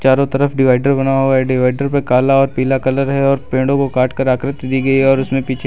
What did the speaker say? चारों तरफ डिवाइडर बनाया हुआ है डिवाइडर पे काला और पीला कलर है और पेड़ों को काटकर आकृति दी गई है और उसमें पीछे--